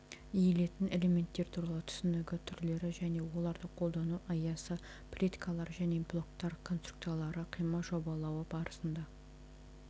иілетін элементтер туралы түсінігі түрлері және оларды қолдану аясы плиткалар және балоктар конструкциялары қима жобалауы барысында